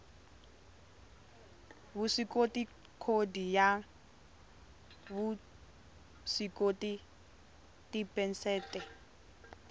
vuswikoti khodi ya vuswikoti tiphesente